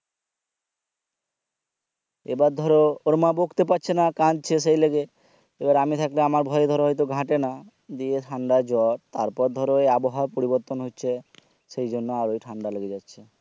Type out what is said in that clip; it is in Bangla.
এবার ধরো ওর মা বকতে পাচ্ছে না কাঁদছে সেই লেগে এবার আমি থাকলে আমার ভয়ে ধরো ঘাটেনা দিয়ে ঠান্ডা জ্বর তারপর ধরো ওই আবহাওয়া পরিবর্তন হচ্ছে সেইজন্যে আরোই ঠান্ডা লেগে যাচ্ছে